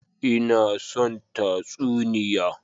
Ina son tatsuniya.